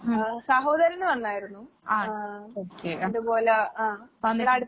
ഉം. ആൺ ഓക്കെ. അഹ് വന്നിട്ട്